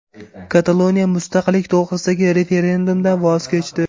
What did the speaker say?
Kataloniya mustaqillik to‘g‘risidagi referendumdan voz kechdi.